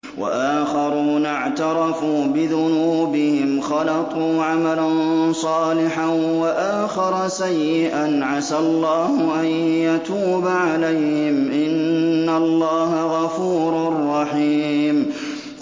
وَآخَرُونَ اعْتَرَفُوا بِذُنُوبِهِمْ خَلَطُوا عَمَلًا صَالِحًا وَآخَرَ سَيِّئًا عَسَى اللَّهُ أَن يَتُوبَ عَلَيْهِمْ ۚ إِنَّ اللَّهَ غَفُورٌ رَّحِيمٌ